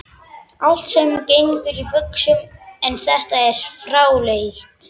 Allt sem gengur í buxum, en þetta er fráleitt.